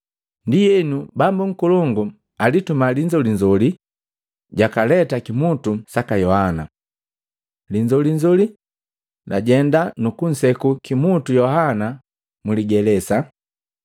Ndienu, bambu nkolongu antuma linzolinzoli, jwakaleta kimutu saka Yohana. Linzolinzoli, jwajenda nukunseku kimutu Yohana mligelesa,